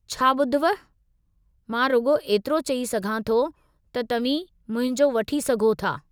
छा ॿुधव! मां रुॻो एतिरो चई सघां थो त तव्हीं मुंहिंजो वठी सघो था।